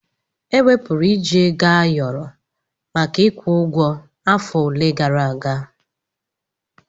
Ewepụrụ iji Ego ayoro maka ịkwụ ụgwọ afọ ole gara aga.